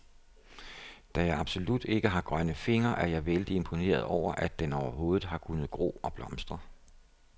Da jeg absolut ikke har grønne fingre, er jeg vældig imponeret over, at den overhovedet har kunnet gro og blomstre.